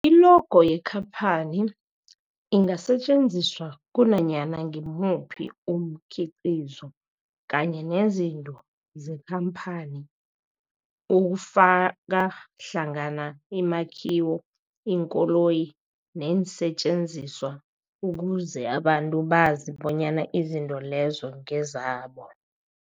I-logo yekhaphani ingasetjenziswa kunanyana ngimuphi umkhiqizo kanye nezinto zekhamphani okufaka hlangana imakhiwo, iinkoloyi neensentjenziswa ukuze abantu bazi bonyana izinto lezo ngezabo.